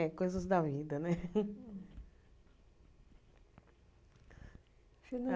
É, coisas da vida, né?